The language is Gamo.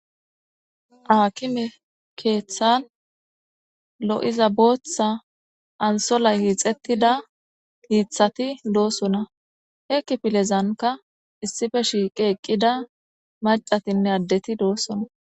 aakime keeththan lo7iza booththa ansola yiixettida yiithati doossona hekki pilezanka issife shiiqe eqqida macatinne addeti doossona